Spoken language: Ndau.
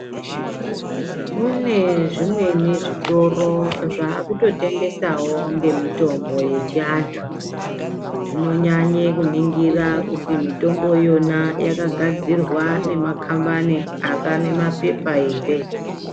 Kune zvimweni zvitoro zvakutotengesawo ngemitombo yechianthu, zvinonyanye kuningira kuti mitombo iyona yakagadzirwa ngemakhambani anemaphepha ere.